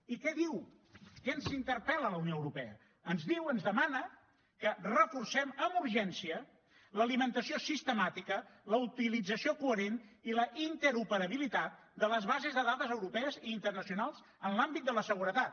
i què diu què ens interpel·la la unió europea ens diu ens demana que reforcem amb urgència l’alimentació sistemàtica la utilització coherent i la interoperabilitat de les bases de dades europees i internacionals en l’àmbit de la seguretat